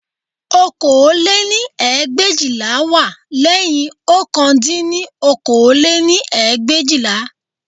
Okòó lé-ní ẹgbẹ̀éjìlá wá lẹ́yìn ọ̀kan dín ní okòó lé-ní ẹgbẹ̀éjìlá